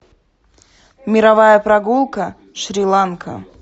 мировая прогулка шри ланка